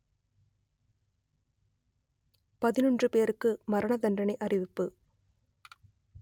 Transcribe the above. பதினொன்று பேருக்கு மரணதண்டனை அறிவிப்பு